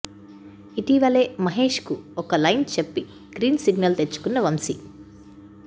ఇటీవలే మహేష్కు ఒక లైన్ చెప్పి గ్రీన్ సిగ్నల్ తెచ్చుకున్న వంశీ